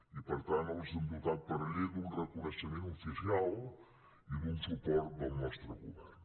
i per tant els hem dotat per llei d’un reconeixement oficial i d’un suport del nostre govern